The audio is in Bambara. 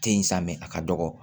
Te in sa mɛ a ka dɔgɔ